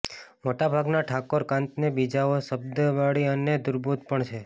મોટા ભાગના ઠાકોર કાન્ત ને બીજાઓ શતાબ્દીવાળા અને દુર્બોધ પણ છે